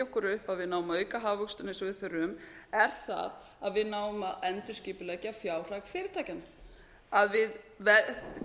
okkur upp að við náum að auka hagvöxtinn eins og við þurfum er það að við náum að endurskipuleggja fjárhag fyrirtækjanna að við gerum